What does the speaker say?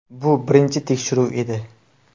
Bu birinchi tekshiruv edi.